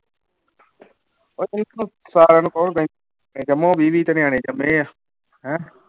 ਵੀਹ ਵੀਹ ਤੇ ਨਿਆਣੇ ਜੰਮੇ ਹੈ, ਹੈਂ